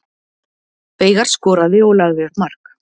Veigar skoraði og lagði upp mark